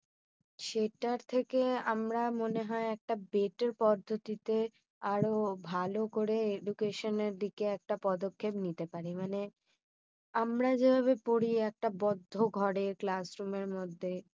সেটা থেকে আমরা মনে হয় একটা better পদ্ধতিতে আরও ভালো করে Education এর দিকে একটা পদক্ষেপ নিতে পারি। মানে, আমরা যেভাবে পড়ি একটা বদ্ধ ঘরে class room এর মধ্যে